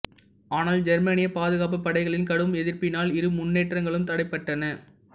ஆனால் ஜெர்மானியப் பாதுகாப்புப் படைகளின் கடும் எதிர்ப்பினால் இரு முன்னேற்றங்களும் தடைபட்டன